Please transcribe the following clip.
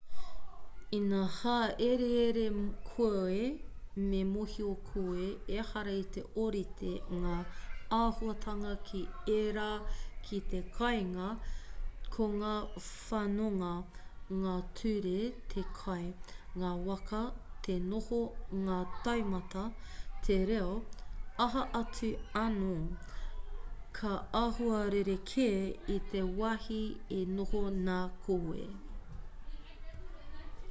ina hāereere koe me mōhio koe ehara i te ōrite ngā āhuatanga ki ērā ki te kāinga ko ngā whanonga ngā ture te kai ngā waka te noho ngā taumata te reo aha atu anō ka āhua rerekē i te wāhi e noho nā koe